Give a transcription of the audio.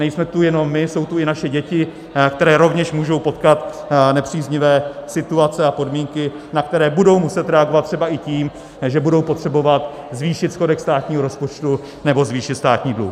Nejsme tu jenom my, jsou tu i naše děti, které rovněž můžou potkat nepříznivé situace a podmínky, na které budou muset reagovat, třeba i tím, že budou potřebovat zvýšit schodek státního rozpočtu nebo zvýšit státní dluh.